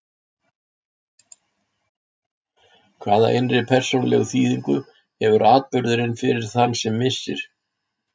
Hvaða innri persónulegu þýðingu hefur atburðurinn fyrir þann sem missir?